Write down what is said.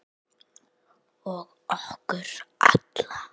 Og okkur alla.